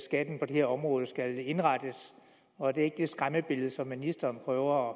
skatten på det her område skal indrettes og det er ikke det skræmmebillede som ministeren prøver